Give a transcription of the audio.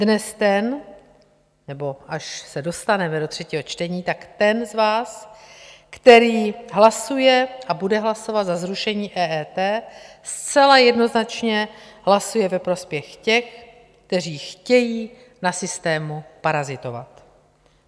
Dnes ten - nebo až se dostaneme do třetího čtení, tak ten z vás, který hlasuje a bude hlasovat za zrušení EET, zcela jednoznačně hlasuje ve prospěch těch, kteří chtějí na systému parazitovat.